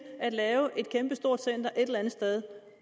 at lave et kæmpestort center et eller andet sted